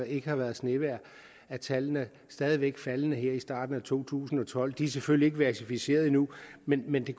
ikke har været snevejr er tallene stadig væk faldende her i starten af to tusind og tolv de er selvfølgelig ikke verificeret endnu men men det